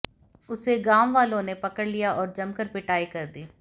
उसे गांववालों ने पकड़ लिया और जमकर पिटाई कर दी